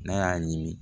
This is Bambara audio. N'a y'a ɲimi